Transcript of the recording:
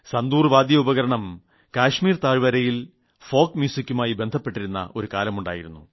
സന്തൂർ വാദ്യോപകരണം കശ്മീർ താഴ്വരയിൽ നാടോടി സംഗീതവുമായി ബന്ധപ്പെട്ടിരുന്ന ഒരു കാലമുണ്ടായിരുന്നു